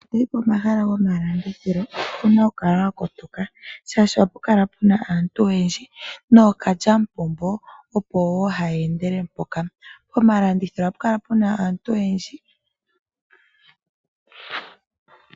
Ngele toyi Pomahala gomalandithilo owuna oku kala wa kotoka, oshoka ohapu kala puna aantu oyendji nookalya mupombo opo wo haya endele mpoka. Pomalandithilo ohapu kala aantu oyendji.